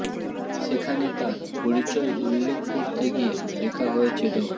সেখানে তার পরিচয় উল্লেখ করতে গিয়ে লেখা হয়েছে ড